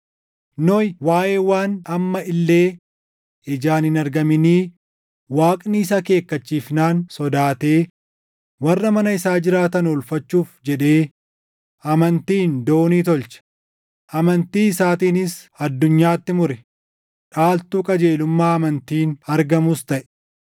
Nohi waaʼee waan amma illee ijaan hin argaminii Waaqni isa akeekkachiifnaan sodaatee warra mana isaa jiraatan oolfachuuf jedhee amantiin doonii tolche. Amantii isaatiinis addunyaatti mure; dhaaltu qajeelummaa amantiin argamuus taʼe.